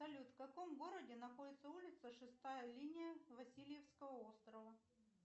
салют в каком городе находится улица шестая линия васильевского острова